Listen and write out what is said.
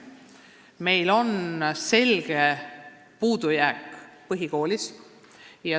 Selge puudujääk on põhikoolis.